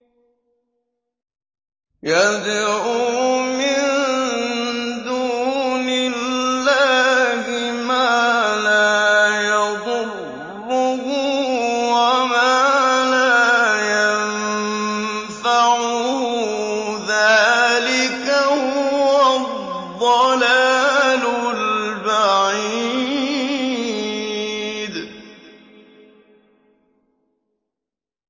يَدْعُو مِن دُونِ اللَّهِ مَا لَا يَضُرُّهُ وَمَا لَا يَنفَعُهُ ۚ ذَٰلِكَ هُوَ الضَّلَالُ الْبَعِيدُ